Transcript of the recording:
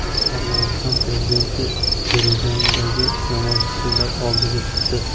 Armaniston prezidenti Yerevandagi namoyishchilar oldiga chiqdi.